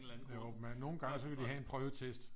Jo men nogle gange så kan de have en prøvetest